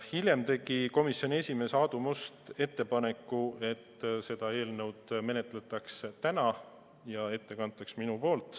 Hiljem tegi komisjoni esimees Aadu Must ettepaneku, et seda eelnõu menetletaks täna ja ettekandja oleksin mina.